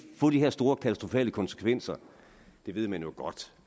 få de her store katastrofale konsekvenser det ved man jo godt